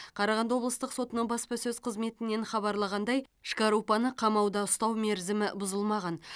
қарағанды облыстық сотының баспасөз қызметінен хабарлағандай шкарупаны қамауда ұстау мерзімі бұзылмаған